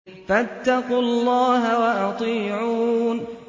فَاتَّقُوا اللَّهَ وَأَطِيعُونِ